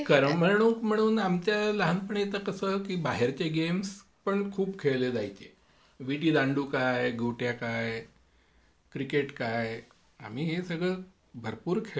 करमणूक म्हणून की आमच्या लहानपणी पण आता कसं की बाहेरचे गेम्स पण खूप खेळले जायचे विटी दांडू काय गोट्या काय.क्रिकेट काय आम्ही हे सगळं आम्ही भरपूर खेळलेलो आहोत.